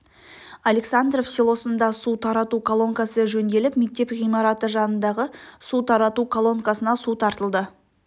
александров селосында су тарату колонкасы жөнделіп мектеп ғимараты жанындағы су тарату колонкасына су тартылды